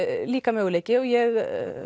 líka möguleiki og ég